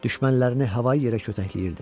Düşmənlərini havaya-yerə kötəkləyirdi.